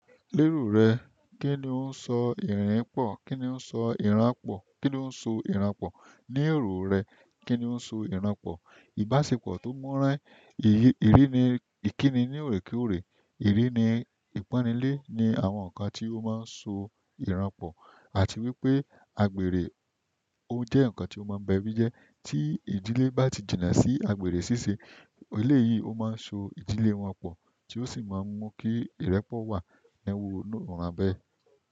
Lérò rẹ kìní ó ń sọ ìrìn pọ̀? Kìní ó ń sọ ìran pọ̀? Kìní ó ń so ìran pọ̀? Ni èrò rẹ kìní ó ń so ìran pọ̀? Ìbáṣepọ̀ tó mọ́rán, ìkíni ní òrékorè, ìkíni ni ìpọ́nile ni àwọn nǹkan tí ó máa ń so ìran pọ̀. Àti wípé àgbèrè ó jẹ́ ǹkan tí ó má ń bẹbí jẹ. Tí ìdílé bá ti jìnnà sí àgbèrè ṣíṣe, eleyìí ó máa so ìdílé wọn pọ̀ tí ó sì máa ń mú kí ìrẹ́pọ̀ wà nínú iràn bẹ́ẹ̀.